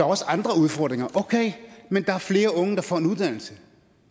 også andre udfordringer okay men der er flere unge der får en uddannelse